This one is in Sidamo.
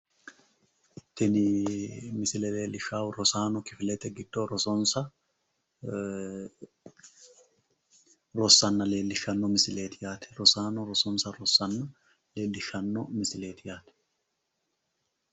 tini misile leellishaahu rosaano kifilete giddo rosonsa ee rossanna leellishshanno misileeti yaate rosaano rosonsa rossanna leellishshanno misileeti yaate .